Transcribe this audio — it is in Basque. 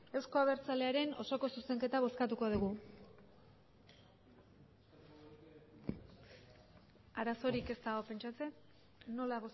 euzko abertzalearen osoko zuzenketa bozkatuko dugu arazorik ez dago pentsatzen nola